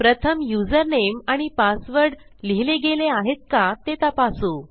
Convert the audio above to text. प्रथम युजरनेम आणि पासवर्ड लिहिले गेले आहेत का ते तपासू